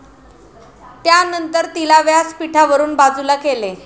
त्यानंतर तिला व्यासपिठावरून बाजूला केले.